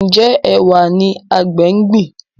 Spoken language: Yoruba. Njé Ẹwà ní àgbè ngbin?